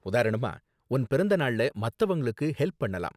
உதாரணமா, உன் பிறந்த நாள்ல மத்தவங்களுக்கு ஹெல்ப் பண்ணலாம்.